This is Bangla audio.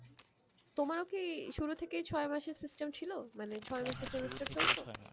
তোমারও কি শুরু থেকেই ছয় মাসের system ছিল মানে